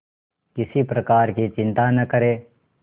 किसी प्रकार की चिंता न करें